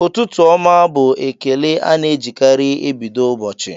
"Ụtụtụ ọma!" bụ ekele a na-ejikarị ebido ụbọchị